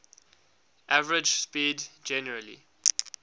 average speed generally